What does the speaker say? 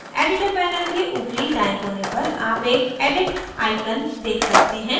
editor panel के ऊपरी दाएं कोने पर आप एक edit icon देख सकते हैं